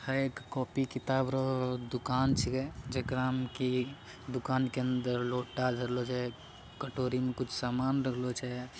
है एक कॉपी - किताब के दुकान छीये जकड़ा में की दुकान के अंदर लोटा धरलो छै कटोरी मे सामान धरलो छै ।